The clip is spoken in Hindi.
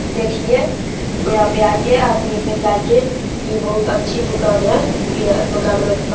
देखिये यहाँ पे आइये और लेके जाईये ये बहुत अच्छी दुकान है यह दुकान में --